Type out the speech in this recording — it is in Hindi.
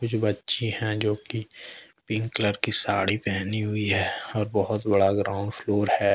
बच्ची हैं जो की पिंक कलर की साड़ी पहनी हुई है और बहोत बड़ा ग्राउंड फ्लोर है।